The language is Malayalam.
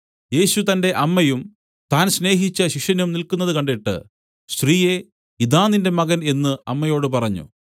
യേശു തന്റെ അമ്മയും താൻ സ്നേഹിച്ച ശിഷ്യനും നില്ക്കുന്നതു കണ്ടിട്ട് സ്ത്രീയേ ഇതാ നിന്റെ മകൻ എന്നു അമ്മയോട് പറഞ്ഞു